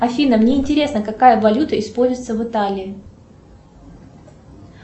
афина мне интересно какая валюта используется в италии